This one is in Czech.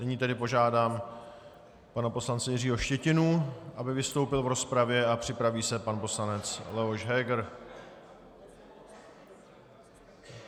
Nyní tedy požádám pana poslance Jiřího Štětinu, aby vystoupil v rozpravě, a připraví se pan poslanec Leoš Heger.